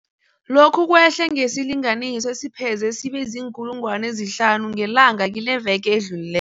Lokhu kwehle ngesilinganiso esipheze sibe ziinkulungwana ezihlanu ngelanga kileveke edlulile